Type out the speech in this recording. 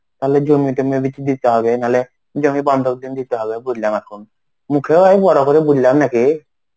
তাহলে জমি টমি বেচে দিতে হবে. নাহলে জমি বন্ধক দিয়ে দিতে হবে বইলা রাখুম. মুখেও আমি বড় করে বললাম নাকি.